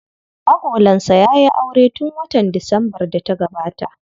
Agolansa ya yi aure tun watan Disambar da ta gabata.